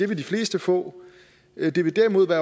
vil de fleste få men at det derimod